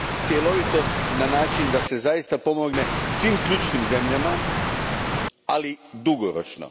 Cjelovitost na način da se zaista pomogne svim ključnim zemljama, ali dugoročno.